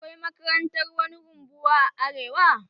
Akwai makarantar wani rumbuwa a arewa?